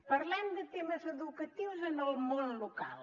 parlem de temes educatius en el món local